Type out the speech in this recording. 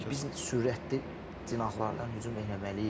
Biz sürətli cinahlardan hücum eləməliyik.